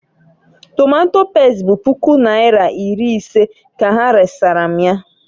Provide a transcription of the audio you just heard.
Tomato pest bụ puku naira iri ise ka ha resara m ya.